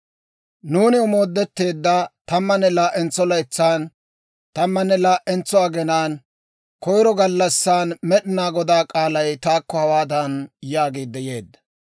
Nuuni omoodetteedda tammanne laa"entso laytsan, tammanne laa"entso aginaan, koyiro gallassan, Med'inaa Godaa k'aalay taakko hawaadan yaagiidde yeedda;